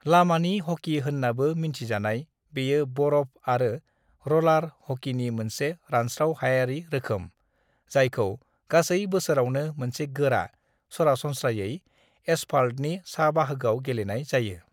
"लामानि हकी होन्नाबो मिन्थिजानाय, बेयो बरफ आरो र'लार हकीनि मोनसे रानस्राव-हायारि रोखोम, जायखौ गासै बोसोरावनो मोनसे गोरा, सरासनस्रायै एसफाल्तनि सा-बाहागोआव गेलेनाय जायो।"